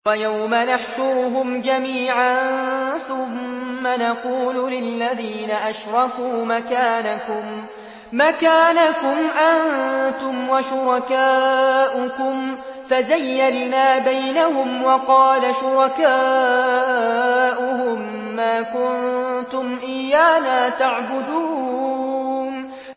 وَيَوْمَ نَحْشُرُهُمْ جَمِيعًا ثُمَّ نَقُولُ لِلَّذِينَ أَشْرَكُوا مَكَانَكُمْ أَنتُمْ وَشُرَكَاؤُكُمْ ۚ فَزَيَّلْنَا بَيْنَهُمْ ۖ وَقَالَ شُرَكَاؤُهُم مَّا كُنتُمْ إِيَّانَا تَعْبُدُونَ